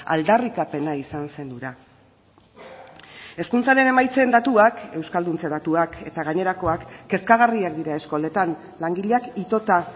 aldarrikapena izan zen hura hezkuntzaren emaitzen datuak euskalduntze datuak eta gainerakoak kezkagarriak dira eskoletan langileak itota